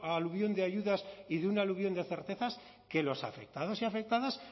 aluvión de ayudas y de un aluvión de certezas que los afectados y afectadas